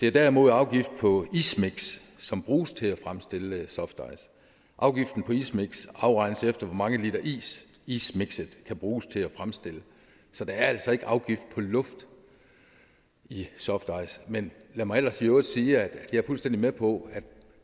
er derimod afgift på ismiks som bruges til at fremstille softice afgiften på ismiks afregnes efter hvor mange liter is ismikset kan bruges til at fremstille så der er altså ikke afgift på luft i softice men lad mig ellers i øvrigt sige at jeg er fuldstændig med på at